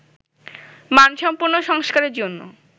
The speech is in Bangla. মানসম্পন্ন সংস্কারের জন্য